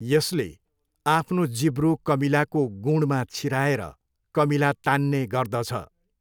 यसले आफ्नो जिब्रो कमिलाको गुँडमा छिराएर कमिला तान्ने गर्दछ।